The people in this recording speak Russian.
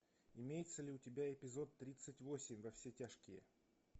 имеется ли у тебя эпизод тридцать восемь во все тяжкие